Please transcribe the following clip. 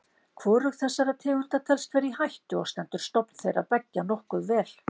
Hvorug þessara tegunda telst vera í hættu og stendur stofn þeirra beggja nokkuð vel.